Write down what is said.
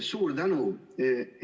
Suur tänu!